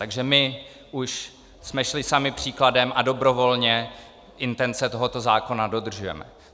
Takže my už jsme šli sami příkladem a dobrovolně intence tohoto zákona dodržujeme.